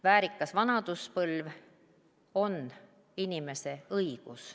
Väärikas vanaduspõlv on inimese õigus.